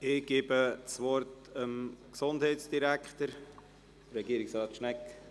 Ich gebe das Wort dem Gesundheitsdirektor, Regierungsrat Schnegg.